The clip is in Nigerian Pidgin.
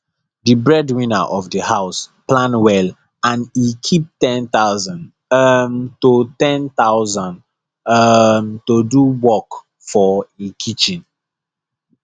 the breadwinner of the house plan well and e keep 10000 um to 10000 um to do work for e kitchen